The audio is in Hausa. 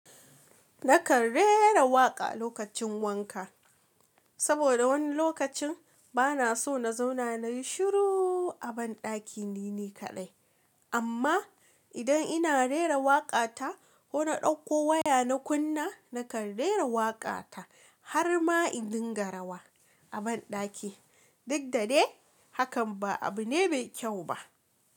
Nakan rera waƙa lokacin wanka, saboda wani lokacin bana so na zauna na yi shiru a banɗaki ni ne kadai. Amma idan ina rera waƙa ta ko na ɗauko waya na kunna, nakan rera waƙa ta har ma in dinga rawa a banɗaki. Duk da dai hakan ba abu ne mai kyau ba.